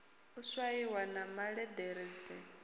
u swaiwa na malederedanzi ho